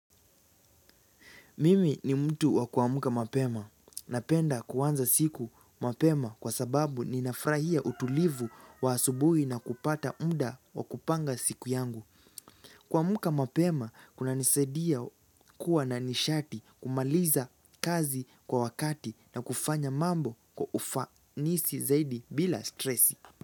Mimi ni mtu wa kuamka mapema. Napenda kuanza siku mapema kwa sababu nina frahia utulivu wa asubuhi na kupata mda wa kupanga siku yangu. Kuamka mapema, kunanisaidia kuwa na nishati, kumaliza kazi kwa wakati na kufanya mambo kwa ufanisi zaidi bila stresi.